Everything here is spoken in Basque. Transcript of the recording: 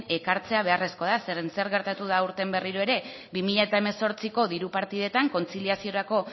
ekartzea beharrezkoa da zeren zer geratu da aurten berriro ere bi mila hemezortziko diru partidetan kontziliaziorako